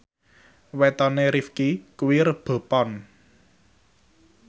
wetone Rifqi kuwi Rebo Pon